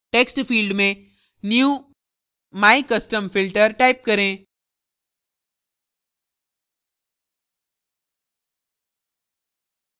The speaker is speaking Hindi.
text field में new mycustomfilter type करें